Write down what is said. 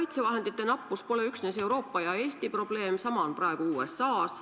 Kaitsevahendite nappus pole üksnes Euroopa ja Eesti probleem, sama on praegu USA-s.